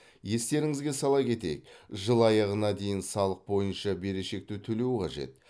естеріңізге сала кетейік жыл аяғына дейін салық бойынша берешекті төлеу қажет